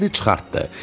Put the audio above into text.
Məni çıxartdı.